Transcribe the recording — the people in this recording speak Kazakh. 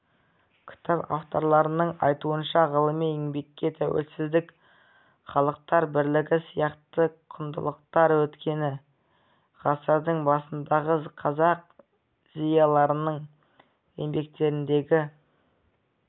кітап авторларының айтуынша ғылыми еңбекте тәуелсіздік халықтар бірлігі сияқты құндылықтар өткен ғасырдың басындағы қазақ зиялыларының еңбектеріндегі